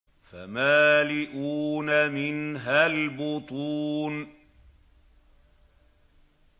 فَمَالِئُونَ مِنْهَا الْبُطُونَ